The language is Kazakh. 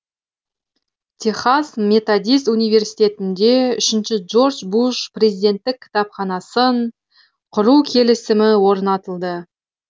техас методист университетінде үшінші джордж буш президенттік кітапханасын құру келісімі орнатылды